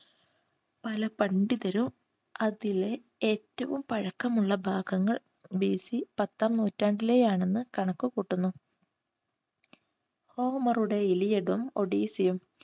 പല പണ്ഡിതരും അതിലെ ഏറ്റവും പഴക്കമുള്ള ഭാഗങ്ങൾ ബിസി പത്താം നൂറ്റാണ്ടിലെ ആണെന്ന് കണക്കു കൂട്ടുന്നു. ഒഡീസിയും